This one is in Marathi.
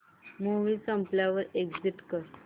मूवी संपल्यावर एग्झिट कर